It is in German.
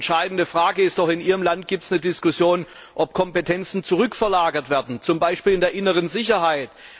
Aber die entscheidende Frage ist doch In Ihrem Land gibt es eine Diskussion, ob Kompetenzen zurückverlagert werden, zum Beispiel bei der inneren Sicherheit.